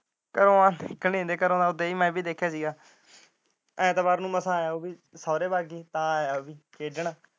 ਘਰੋਂ ਆ ਮੈਂ ਵੀ ਵੇਖਿਆ ਸੀ ਗਾ ਐਤਵਾਰ ਨੂੰ ਮਾਸਾ ਆਇਆ ਸੁਹਾਰੇ ਵੱਗ ਗਈ ਤਾ ਆਇਆ ਉਹ ਵੀ ਖੇਡਣ।